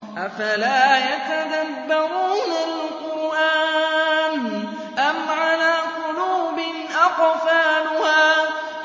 أَفَلَا يَتَدَبَّرُونَ الْقُرْآنَ أَمْ عَلَىٰ قُلُوبٍ أَقْفَالُهَا